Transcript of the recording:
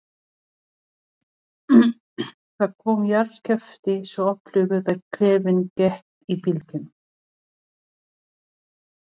Það kom jarðskjálfti, svo öflugur að klefinn gekk í bylgjum.